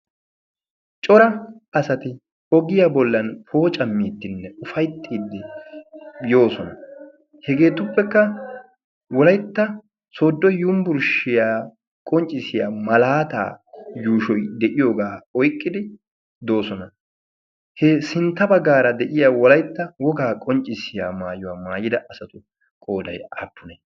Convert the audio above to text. cora asati pogiyaa bollan pooca miittinne ufayttiiddi yoosona hegeetuppekka wolaytta sodo yumbburshiyaa qonccissiya malaataa yuushoy de'iyoogaa oyqqidi doosona he sintta baggaara de'iya wolaytta wogaa qonccissiya maayuwaa maayida asatu qooday appune